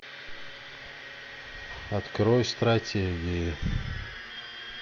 открой стратегии